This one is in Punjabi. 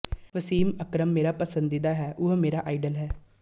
ਵਸੀਮ ਅਕਰਮ ਮੇਰਾ ਪਸੰਦੀਦਾ ਹੈ ਉਹ ਮੇਰਾ ਆਇਡਲ ਹੈ